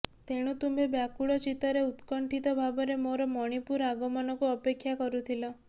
ତେଣୁ ତୁମ୍ଭେ ବ୍ୟାକୁଳ ଚିତ୍ତରେ ଉତ୍କଣ୍ଠିତ ଭାବରେ ମୋର ମଣିପୁର ଆଗମନକୁ ଅପେକ୍ଷା କରୁଥିଲ